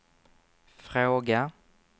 fråga